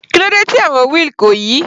Kílódé tí àwọn wheel kò yí?